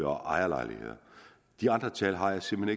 og af ejerlejligheder de andre tal har jeg simpelt